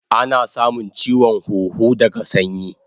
Ana samun chiwon huhu daga sanyi